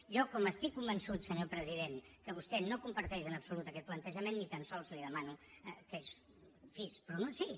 jo com estic convençut senyor president que vostè no comparteix en absolut aquest plantejament ni tan sols li demano en fi que es pronunciï